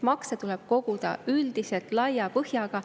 Makse tuleb koguda üldiselt laia põhjaga.